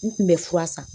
N kun bɛ fura san